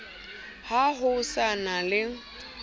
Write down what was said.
ha ho sa na le